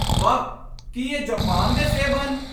ਵਾਹ! ਕੀ ਇਹ ਜਪਾਨ ਦੇ ਸੇਬ ਹਨ?